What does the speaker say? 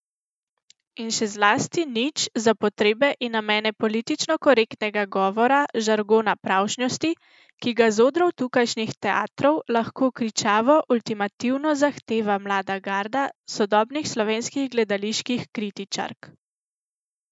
In še zlasti nič za potrebe in namene politično korektnega govora, žargona pravšnjosti, ki ga z odrov tukajšnjih teatrov tako kričavo ultimativno zahteva mlada garda sodobnih slovenskih gledaliških kritičark.